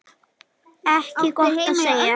Ekki gott að segja.